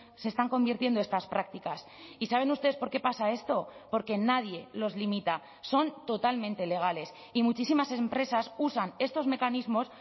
se están convirtiendo estas prácticas y saben ustedes por qué pasa esto porque nadie los limita son totalmente legales y muchísimas empresas usan estos mecanismos